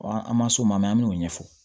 Wa an ma s'o ma an b'o ɲɛfɔ